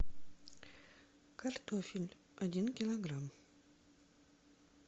картофель один килограмм